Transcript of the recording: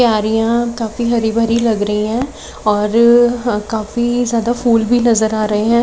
क्यारियां काफी हरी भरी लग रही हैं और काफी ज्यादा फूल भी नजर आ रहे हैं।